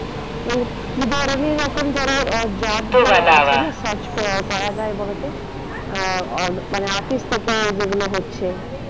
কি ধরণের এখন ধরো আহ job যে আছে না search করা. করা যায় বলতো আহ মানে office থেকে যেগুলো হচ্ছে।